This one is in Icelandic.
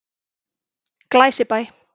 Glæsibæ